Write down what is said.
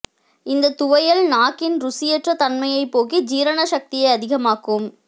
இந்த துவையல் நாக்கின் ருசியற்ற தன்மையைப் போக்கி ஜீரண சக்தியை அதிகமாக்கும்